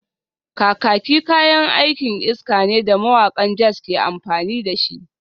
Kakaki kayan aikin iska ne da mawakan jazz ke amfani da shi